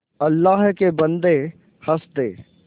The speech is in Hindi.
अल्लाह के बन्दे हंस दे